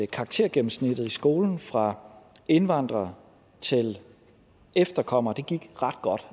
karaktergennemsnittet i skolen fra indvandrere til efterkommere gik ret godt